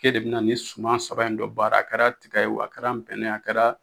K'ede be na ni suman saba in dɔ baara a kɛra tigɛ ye o a kɛra nbɛnnɛn ye o a kɛra